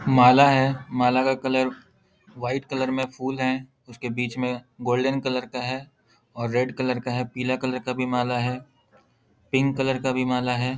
माला है। माला का कलर व्हाइट कलर में फुल हैं। उस के बीच में गोल्डन कलर का है और रेड कलर का है पीला कलर का भी माला है पिंक कलर का भी माला है।